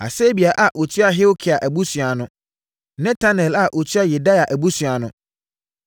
Hasabia a ɔtua Hilkia abusua ano. Netanel a ɔtua Yedaia abusua ano.